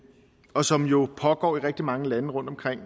og som jo pågår i rigtig mange lande rundtomkring